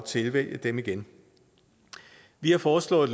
tilvælge dem igen vi har foreslået